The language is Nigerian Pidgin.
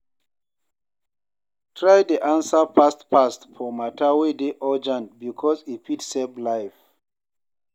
try dey ansa fast fast for mata wey dey urgent bikos e fit save life